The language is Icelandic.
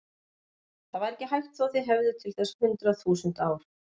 Það væri ekki hægt þó þið hefðuð til þess hundrað þúsund ár.